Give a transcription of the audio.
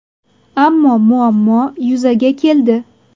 Ammo muammo yuzaga keldi.